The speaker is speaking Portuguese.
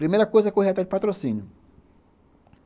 Primeira coisa é correr atrás de patrocínio.